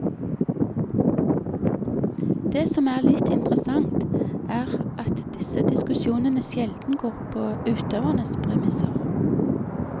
Det som er litt interessant, er at disse diskusjonene sjelden går på utøvernes premisser.